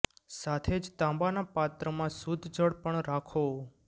સાથે જ તાંબા ના પાત્ર માં શુદ્ધ જળ પણ રાખો